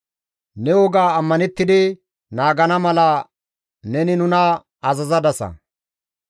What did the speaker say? Ne woga ammanettidi naagana mala neni nuna azazadasa.